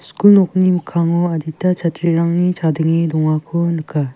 skul nokni mikkango adita chatrirangni chadenge dongako nika.